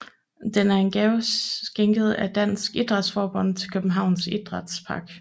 Den er en gave skænket af Dansk Idrætsforbund til Københavns Idrætspark